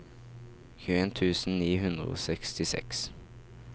tjueen tusen ni hundre og sekstiseks